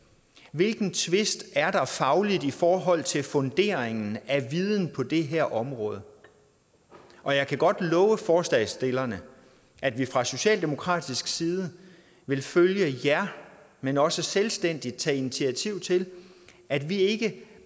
hvilken tvist er der fagligt i forhold til funderingen af viden på det her område og jeg kan godt love forslagsstillerne at vi fra socialdemokratisk side vil følge jer men også selvstændigt tage initiativ til at vi ikke